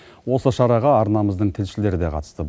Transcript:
осы шараға арнамыздың тілшілері де қатысты